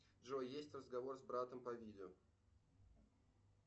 джой есть разговор с братом по видео